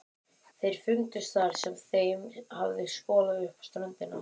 Þeir fundust þar sem þeim hafði skolað upp á ströndina.